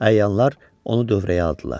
Əyanlar onu dövrəyə aldılar.